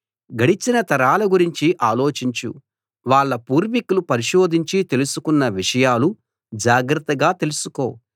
గడిచిన తరాల గురించి ఆలోచించు వాళ్ళ పూర్వికులు పరిశోధించి తెలుసుకున్న విషయాలు జాగ్రత్తగా తెలుసుకో